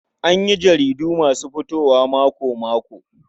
An yi jaridu masu fitowa mako-mako.